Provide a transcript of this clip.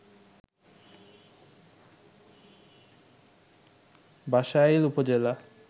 বাসাইল উপজেলা